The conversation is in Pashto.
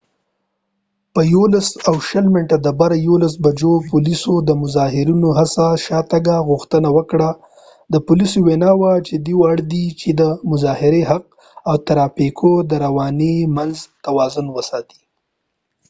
په 11:20 بجو پولیسو د مظاهرېنو څخه د شا تګ غوښتنه وکړه د پولیسو وينا وه چې دوي اړ دي چې د مظاهرې حق او د ترافیکو د روانی تر منځ توازن وساتي